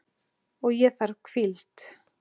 Og ég þarf hvíld.